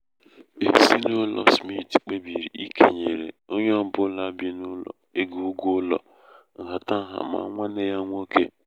ezinaụlọ smit kpebiri ikenyere onye ọ bụla bị n'ụlọ ego ụgwọ ụlọ nhatanha ma nwanne ya nwoke.